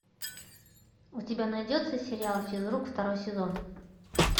у тебя найдется сериал физрук второй сезон